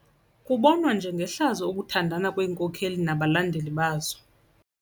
Kubonwa njengehlazo ukuthandana kweenkokeli nabalandeli bazo.